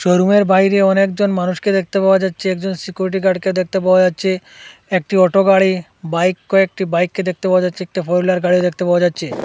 রুমের বাইরে অনেকজন মানুষকে দেখতে পাওয়া যাচ্চে একজন সিকিউরিটি গার্ডকে দেখতে পাওয়া যাচ্চে একটি অটো গাড়ি বাইক কয়েকটি বাইককে দেখতে পাওয়া যাচ্চে একটি ফোর হুইলার গাড়ি দেখতে পাওয়া যাচ্চে।